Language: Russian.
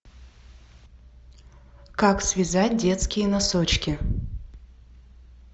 как связать детские носочки